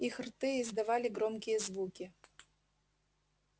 их рты издавали громкие звуки